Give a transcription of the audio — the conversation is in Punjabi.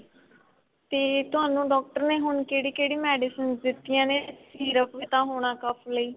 ਤੇ ਤੁਹਾਨੂੰ ਡਾਕਟਰ ਨੇ ਹੁਣ ਕਿਹੜੀ ਕਿਹੜੀ medicines ਦਿੱਤੀਆਂ ਨੇ syrup ਵੀ ਤਾਂ ਹੋਣਾ ਲਈ